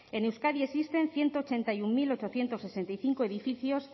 en euskadi existen ciento ochenta y uno mil ochocientos sesenta y cinco edificios